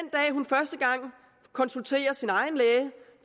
hun første gang konsulterer sin egen læge